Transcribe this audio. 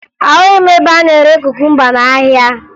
Ahụghị m ebe a na-ere kukumba n'ahịa